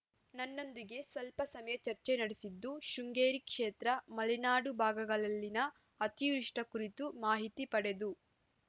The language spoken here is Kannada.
ನನ್ನೊಂದಿಗೆ ಸ್ವಲ್ಪ ಸಮಯ ಚರ್ಚೆ ನಡೆಸಿದ್ದು ಶೃಂಗೇರಿ ಕ್ಷೇತ್ರ ಮಲೆನಾಡು ಭಾಗಗಳಲ್ಲಿನ ಅತಿವೃಷ್ಟಿಕುರಿತು ಮಾಹಿತಿ ಪಡೆದು